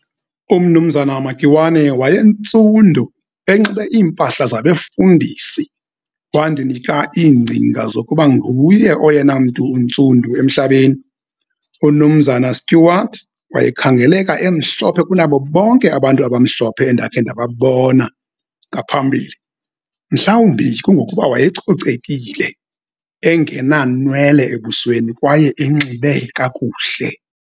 Umnumzana uMakiwane waye ntsundu, enxibe iimpahla zabefundisi wandinika iingcinga zokuba nguye oyena mntu untsundu emhlabeni. UMnumzan' uStuart wayekhangeleka emhlophe kunabo bonke abantu abamhlophe endake ndababona ngaphambili, mhlawumbi kungokuba wayecocekile, engena nwele ebusweni kwaye enxibe kakuhle.